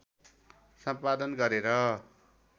सम्पादन गरेर